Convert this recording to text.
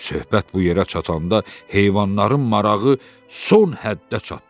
Söhbət bu yerə çatanda heyvanların marağı son həddə çatdı.